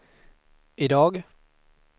idag